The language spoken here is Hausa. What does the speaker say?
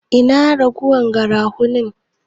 Ina ragowar garafunin?